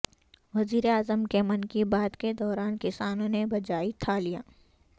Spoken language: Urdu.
وزیر اعظم کے من کی بات کے دوران کسانوں نے بجائی تھالیاں